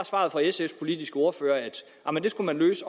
svaret fra sfs politiske ordfører at det skulle løses